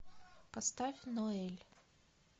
поставь ноэль